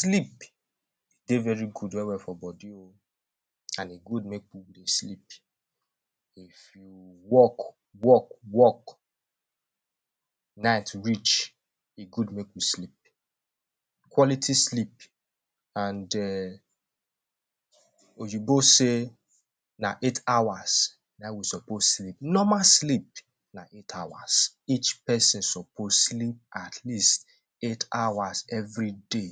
Sleep dey very good well-well for body oh, an e good make we dey sleep. If you work work work, night reach, e good make you sleep quality sleep. An um oyinbo say na eight hours, na ein we suppose sleep. Normal sleep na eight hours. Each peson suppose sleep at least eight hours everyday,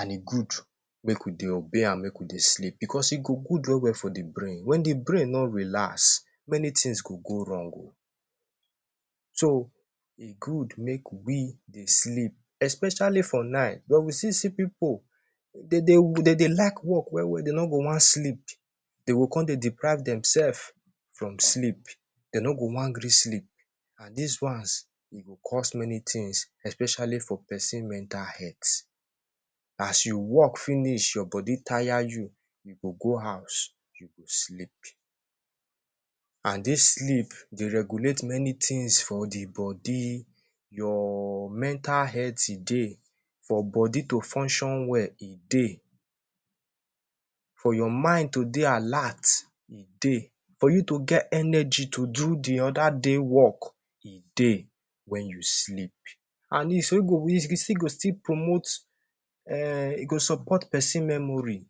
an e good make we dey obey am make we dey sleep, becos e go good well-well for the brain. Wen the brain no relax, many tins go go wrong oh. So, e good make we dey sleep especially for night. Wen we still see pipu de dey de dey like work well-well de no go wan sleep, de go con dey deprive demsef from sleep, de no go wan gree sleep. An dis ones, e go cause many tins especially for peson mental health. As you work finish your body taya you, you go go house, you go sleep. An dis sleep dey regulate many tins for the body: your mental health, e dey; for body to function well, e dey; for your mind to dey alert, e dey; for you to get energy to do the other day work, e dey wen you sleep. An wey go e e still go still promote um e go support memory.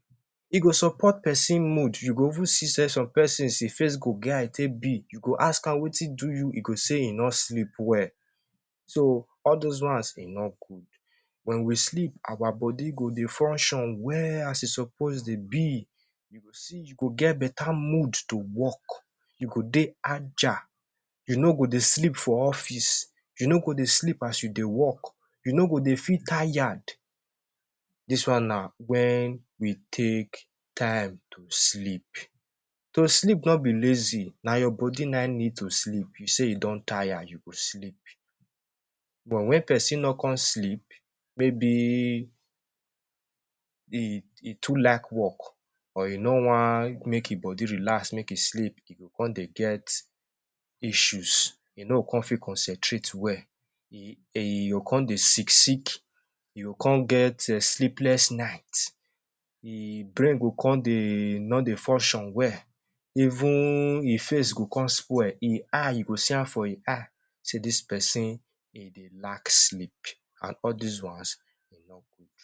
E go support peson mood. You go even see sey some pesons e face go get how e take be. You go ask am wetin do you, e go say e no sleep well. So, all dos ones, e no good. Wen we sleep, our body go dey function well as e suppose dey be. You go see you go get beta mood to work, you go dey agile, you no go dey sleep for office, you no go dey sleep as you dey work, you no go dey feel tayad. Dis one na wen we take time to sleep. To sleep no be lazy. Na your body na ein need to sleep. You say you don taya, you go sleep. But wen peson no con sleep, maybe e e too like work, or e no wan make e body relax, make e sleep, e go con dey get issues, e no go con fit concentrate well. E e go con dey sick-sick, e go con get um sleepless night, e brain go con dey no dey function well, even e face go con spoil. E eye, you go see am for e eye sey dis peson, e dey lack sleep, an all dis ones, e no good.